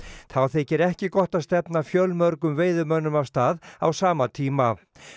þá þykir ekki gott að stefna fjölmörgum veiðimönnum af stað á sama tíma